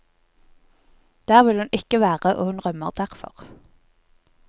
Der vil hun ikke være, og hun rømmer derfor.